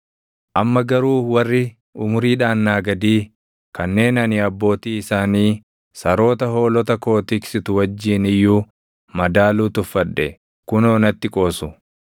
“Amma garuu warri umuriidhaan naa gadii, kanneen ani abbootii isaanii saroota hoolota koo tiksitu wajjin iyyuu madaaluu tuffadhe, kunoo natti qoosu.